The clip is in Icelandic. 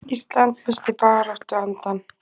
Ísland missti baráttuandann